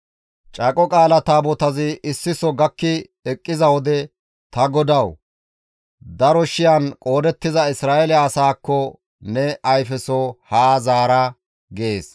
Caaqo Qaala Taabotazi issiso gakki eqqiza wode, «Ta GODAWU! Daro shiyan qoodettiza Isra7eele asaakko ne ayfeso haa zaara» gees. Qeeseti caaqo qaala taabota tookki bishin